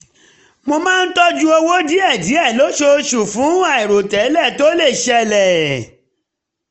mo máa ń tọ́jú owó díẹ̀ lóṣooṣù fún àìròtẹ́lẹ̀ tó lè ṣẹlẹ̀